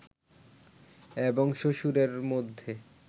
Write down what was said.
এবং শ্বশুরের মধ্যে